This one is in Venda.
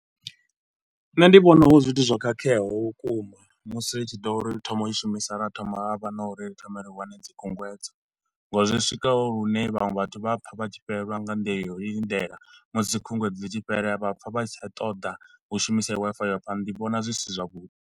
Nṋe ndi vhona hu zwithu zwo khakheaho vhukuma musi hu tshi ḓo ri u thoma u i shumisa ra thoma ha vha na uri ri thome ri wane dzi khunguwedzo nga uri zwi swika hune vhaṅwe vhathu vha a pfa vha tshi fhelelwa nga mbilu ya u lindela musi khunguwedzo ḽi tshi fhela vha pfa vha si tsha ṱoḓa u shumisa heyo Wi-Fi u ya phanda, ndi vhona zwi si zwa vhuḓi.